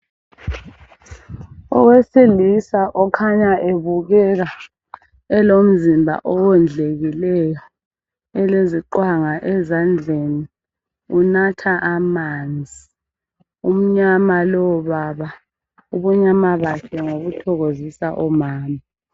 Owesilisa okhanya ebukeka elomzimba owondlekileyo uleziqwanga ezandleni unatha amanzi .Umnyama lowo baba .Ubunyama bakhe ngobuthokozisa omama .